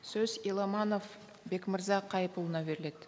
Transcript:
сөз еламанов бекмырза қайыпұлына беріледі